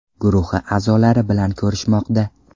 guruhi a’zolari bilan ko‘rishmoqda.